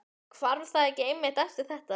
Hvarf það ekki einmitt eftir þetta?